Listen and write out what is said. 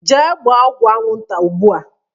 Jee gbaa ọgwụ anwụ nta ụgbụa!